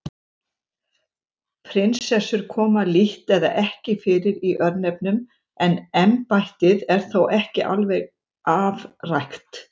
Prinsessur koma lítt eða ekki fyrir í örnefnum en embættið er þó ekki alveg afrækt.